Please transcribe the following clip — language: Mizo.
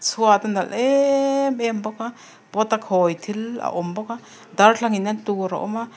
chhuat a nalh eeem em bawk a pot a khawi thil a awm bawk a darthlalang in en tur a awm a--